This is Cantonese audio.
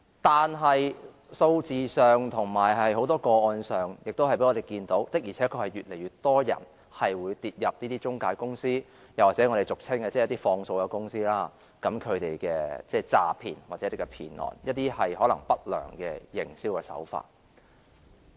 但是，從數字及很多個案看來，的確是有越來越多人跌入這些中介公司或俗稱"放數公司"的詐騙陷阱，或成為這些公司不良營銷手法的受害人。